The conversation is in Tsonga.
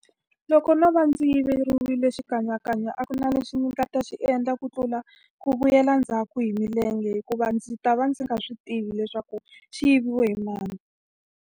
Loko no va ndzi yiveriwile xikanyakanya a ku na lexi ni nga ta xi endla ku tlula ku vuyela ndzhaku hi milenge hikuva ndzi ta va ndzi nga swi tivi leswaku, xi yiviwe hi mani.